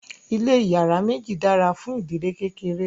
ilé iyàrá méjì dára fún ìdílé kékeré